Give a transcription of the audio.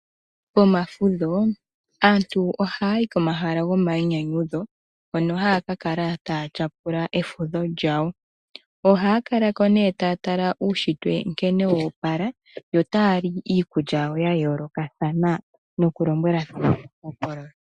Pomafudho aantu ohaayi komahala gomayinyanyu dho, hono haa kakala taa tyapula efudho lyawo. Ohaa kalako nee taa tala uushitwe nkene woopala yo taali iikulya yawo ya yolokathana noku lombwelathana uuhokololo.